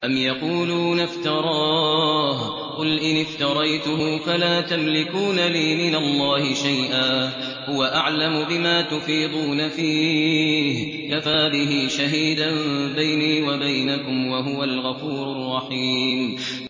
أَمْ يَقُولُونَ افْتَرَاهُ ۖ قُلْ إِنِ افْتَرَيْتُهُ فَلَا تَمْلِكُونَ لِي مِنَ اللَّهِ شَيْئًا ۖ هُوَ أَعْلَمُ بِمَا تُفِيضُونَ فِيهِ ۖ كَفَىٰ بِهِ شَهِيدًا بَيْنِي وَبَيْنَكُمْ ۖ وَهُوَ الْغَفُورُ الرَّحِيمُ